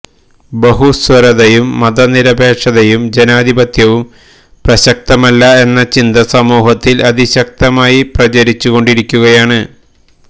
ബഹുസ്വരതയും മതനിരപേക്ഷതയും ജനാധിപത്യവും പ്രസക്തമല്ല എന്നചിന്ത സമൂഹത്തില് അതിശക്തമായി പ്രചരിച്ചു കൊണ്ടിരിക്കുകയാണ്